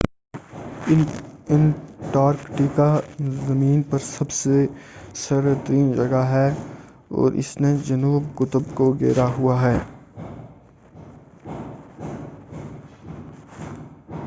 Antarctica زمین پر سب سے سرد ترین جگہ ہے اور اس نے جنوبی قطب کو گھیرا ہوا ہے